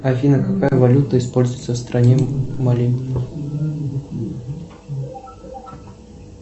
афина какая валюта используется в стране мали